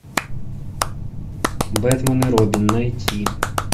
бэтмен и робин найти